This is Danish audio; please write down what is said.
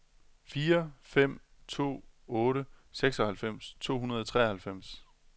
fire fem to otte seksoghalvfems to hundrede og treoghalvfems